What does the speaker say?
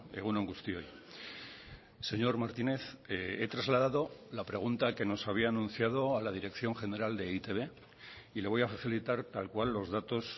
egun on guztioi señor martínez he trasladado la pregunta que nos había anunciado a la dirección general de e i te be y le voy a facilitar tal cual los datos